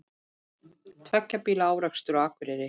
Tveggja bíla árekstur á Akureyri